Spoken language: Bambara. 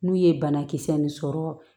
N'u ye banakisɛ nin sɔrɔ